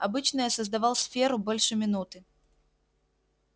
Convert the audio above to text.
обычно я создавал сферу больше минуты